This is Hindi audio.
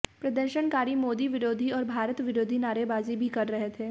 प्रदर्शनकारी मोदी विरोधी और भारत विरोधी नारेबाजी भी कर रहे थे